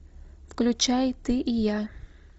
включай ты и я